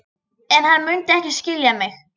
En hann mundi ekki skilja mig.